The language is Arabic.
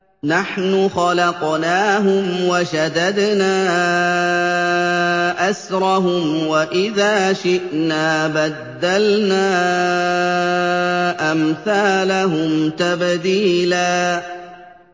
نَّحْنُ خَلَقْنَاهُمْ وَشَدَدْنَا أَسْرَهُمْ ۖ وَإِذَا شِئْنَا بَدَّلْنَا أَمْثَالَهُمْ تَبْدِيلًا